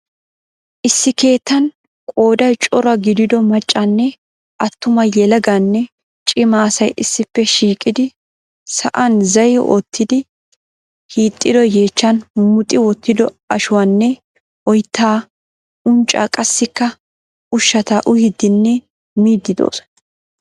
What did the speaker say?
Issi keettan qooday cora gidido maccanne attuma yelaganne cimma asay issippe shiiqidi saa'an zahi oottid hiixxido yeechchaan muxxi wottido ashuwaanne oyttaa, unccaa qassikka ushshata uyiidinne miid doosona.